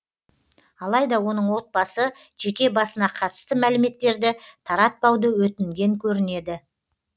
алайда оның отбасы жеке басына қатысты мәліметтерді таратпауды өтінген көрінеді